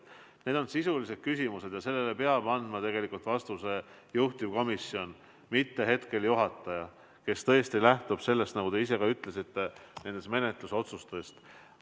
Need on sisulised küsimused ja neile peab andma vastuse juhtivkomisjon, mitte istungi juhataja, kes tõesti lähtub, nagu te ise ka ütlesite, menetlusotsustest.